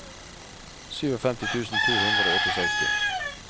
femtisju tusen to hundre og sekstiåtte